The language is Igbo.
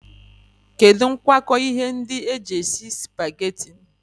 Kedu ngwoko ihe ndi eji esi supageti?